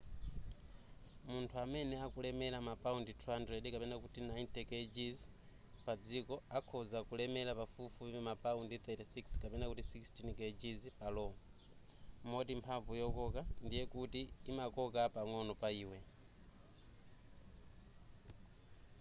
munthu amene akulemera mapaundi 200 90kg pa dziko akhonza kulemera pafupifupi ma paundi 36 16kg pa lo.moti mphamvu yokoka ndiye kuti imakoka pang'ono pa iwe